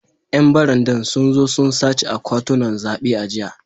‘Yan barandan sun zo sun sace akwatunan zabe a jiya